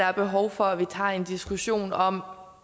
er behov for at vi tager en diskussion om